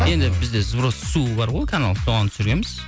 енді бізде сброс су бар ғой канал соған түсіреміз